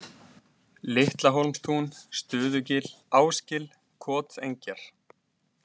Litlahólmstún, Stuðugil, Ásgil, Kotengjar